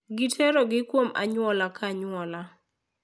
Giterogi kuom anyuola ka anyuola.